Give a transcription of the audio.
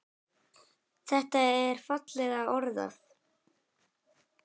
Þetta er fallega orðað.